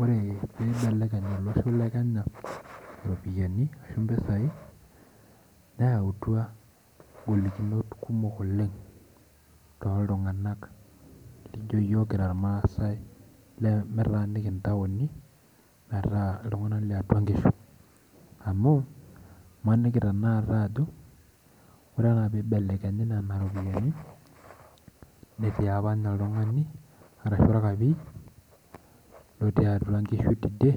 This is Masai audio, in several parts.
Ore pibelekeny olosho le Kenya iropiyiani ashu mpisai, neutua golikinot kumok oleng toltung'anak lijo yiok kira irmaasai lemetaaniki intaoni, metaa iltung'anak liatua nkishu. Amu, imaniki tanakata ajo, ore enaa pibelekenyi nena ropiyiani, netii apa nye oltung'ani, arashu orkapi, lotii atua nkishu tidie,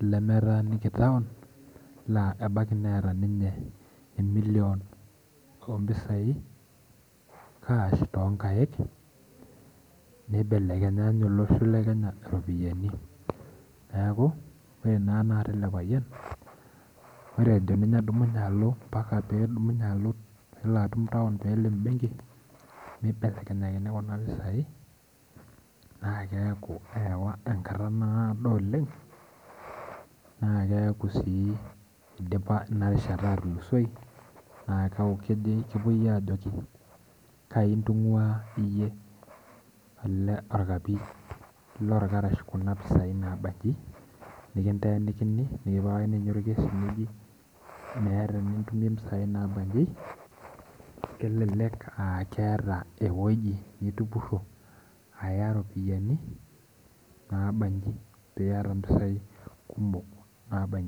lemetaaniki taon, la ebaiki neeta ninye emilion ompisai cash tonkaik, nibelekenya inye olosho le Kenya iropiyiani. Neeku, ore naa tanakata ele payian, ore ejo ninye adumunye alo mpaka tedumunye alo nelo atum taon pelo ebenki, nibelekenyakini kuna pisai na keeku eewa enkata naado oleng, naa keeku si idipa inarishata atulusoi, na keeku kepoi ajoki kai ntung'ua iyie ele orkapii lorkarash kuna pisai nabanyi, nikinteenikini nikipikakini nye orkesi, meeta enitumie mpisai nabaji, elelek ah keeta ewoji nitupurro aya ropiyiani nabaji, piata mpisai kumok nabaji.